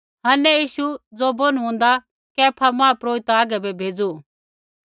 हन्ने यीशु ज़ो बौनु हौन्दा कैफा महापुरोहित हागै बै भेज़ू